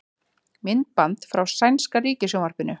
Myndband frá sænska ríkissjónvarpinu